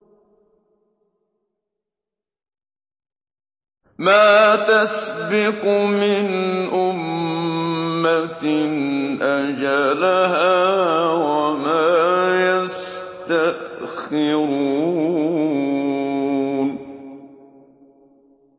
مَّا تَسْبِقُ مِنْ أُمَّةٍ أَجَلَهَا وَمَا يَسْتَأْخِرُونَ